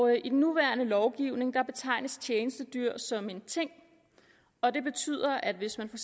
i den nuværende lovgivning betegnes tjenestedyr som en ting og det betyder at hvis man for